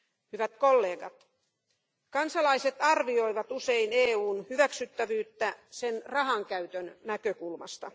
Hyvät kollegat, kansalaiset arvioivat usein EUn hyväksyttävyyttä sen rahankäytön näkökulmasta.